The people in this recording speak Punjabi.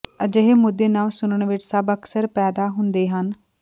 ਅਜਿਹੇ ਮੁੱਦੇ ਨਵ ਸੁਣਨ ਵਿੱਚ ਸਭ ਅਕਸਰ ਪੈਦਾ ਹੁੰਦੇ ਹਨ